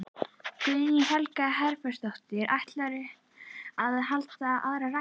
Guðný Helga Herbertsdóttir: Ætlarðu að halda aðra ræðu?